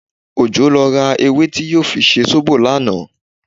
Òjó lọ ra ewé tí yóò fi ṣe zóbò lánàá